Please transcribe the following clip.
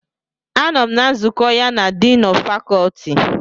Anọm na nzukọ ya na Diini of Faculty.